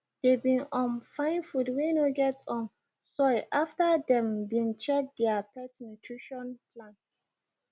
they been um fine food wey no get um soy after them been check their pet nutrition plan